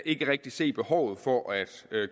ikke rigtig se behovet for at